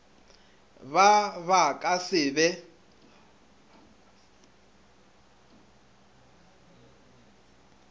ba ba ka se be